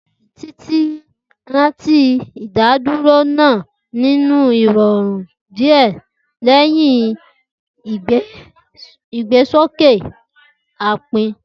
Titi ranti, Idaduro naa ni irọrun diẹ lẹhin igbesoke aipẹ.